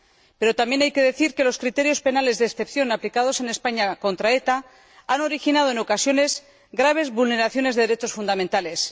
Pero también hay que decir que los criterios penales de excepción aplicados en España contra ETA han originado, en ocasiones, graves vulneraciones de los derechos fundamentales.